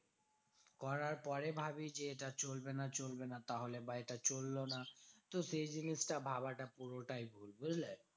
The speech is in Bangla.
করার পরে ভাবি যে এটা চলবে না চলবে না তাহলে বা এটা চললো না। তো সেই জিনিসটা ভাবাটা পুরোটাই ভুল বুঝলে?